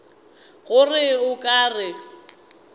go reng o ka re